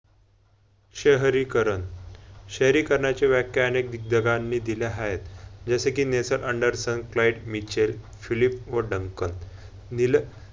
शहरीकरण, शहरीकरणाची व्याख्या अनेक दिग्गजानी नी दिल्या हायत. जसे कि नेचर अँडरसन, फ्लाइट मिचर्स, फिलिप वडांकन